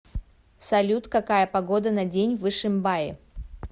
салют какая погода на день в ишимбае